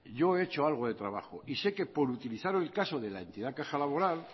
yo he hecho algo de trabajo y sé que por utilizar el caso de la entidad caja laboral